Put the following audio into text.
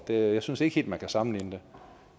jeg synes ikke helt at man kan sammenligne